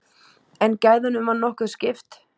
En gæðunum var nokkuð skipt.